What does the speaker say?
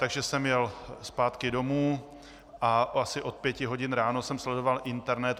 Takže jsem jel zpátky domů a asi od pěti hodin ráno jsem sledoval internet.